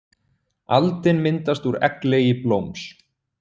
Aldin myndast úr egglegi blóms.